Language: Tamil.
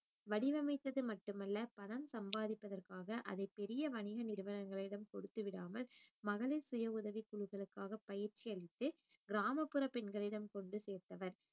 வடிவமைத்தது மட்டுமல்ல பணம் சம்பாதிப்பதற்காக அதை பெரிய வணிக நிறுவனங்களிடம் கொடுத்துவிடாமல் மகளிர் சுய உதவிக் குழுக்களுக்காக பயிற்சி அளித்து கிராமப்புற பெண்களிடம் கொண்டு சேர்த்தவர்